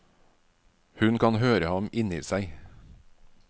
Hun kan høre ham inni seg.